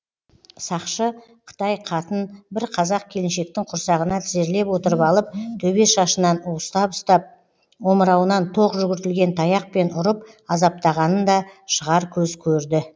сақшы қытай қатын бір қазақ келіншектің құрсағына тізерлеп отырып алып төбе шашынан уыстап ұстап омырауынан тоқ жүгіртілген таяқпен ұрып азаптағанын да шығар көз көрді